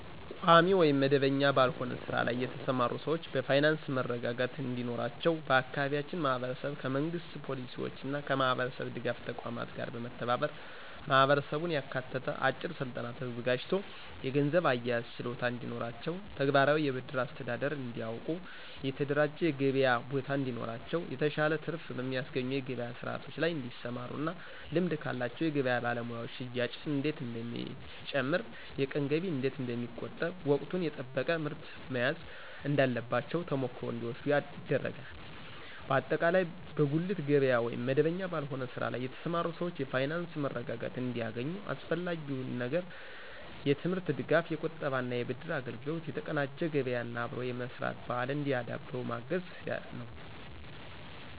ቋሚ ወይም መደበኛ ባልሆነ ስራ ላይ የተሰማሩ ሰዎችን በፋይናንስ መረጋጋት እንዲኖራቸው በአካባቢያችን ማህበረሰብ ከመንግሥት ፖሊሲዎችና ከማህበረሰብ ድጋፍ ተቋማት ጋር በመተባበር ማህበረሰቡን ያካተተ አጭር ስልጠና ተዘጋጅቶ የገንዘብ አያያዝ ችሎታ እንዲኖራቸው፣ ተግባራዊ የብድር አስተዳደር እንዲያውቁ፣ የተደራጀ የገበያ ቦታ እንዲኖራቸው፣ የተሻለ ትርፍ በሚያስገኙ የገበያ ስርዓቶች ላይ እንዲሰማሩና ልምድ ካላቸው የገበያ ባለሙያዎች ሽያጭ እንዴት እንደሚጨምር፣ የቀን ገቢ እንዴት እንደሚቆጠብ፣ ወቅቱን የጠበቀ ምርት መያዝ እንዳለባቸው ተሞክሮ እንዲወስዱ ይደረጋል። በአጠቃላይ በጉሊት ገበያ ወይም መደበኛ ባልሆነ ስራ ላይ የተሰማሩ ሰዎች የፋይናንስ መረጋጋት እንዲያገኙ አስፈላጊው ነገር የትምህርት ድጋፍ፣ የቁጠባና የብድር አገልግሎት፣ የተቀናጀ ገበያና አብሮ የመስራት ባህልን እንዲያዳብሩ በማገዝ ነዉ።